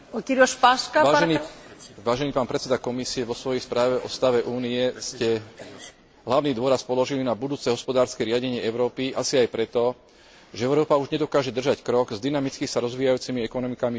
Vážený pán predseda Komisie, vo svojej správe o stave Únie ste hlavný dôraz položili na budúce hospodárske riadenie Európy asi aj preto, že Európa už nedokáže držať krok s dynamicky sa rozvíjajúcimi ekonomikami v Ázii či v Amerike.